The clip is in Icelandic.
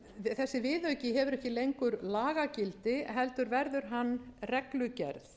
þessi viðauki hefur ekki lengur lagagildi heldur verður hann reglugerð